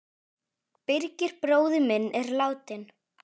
Birgir bróðir minn er látinn.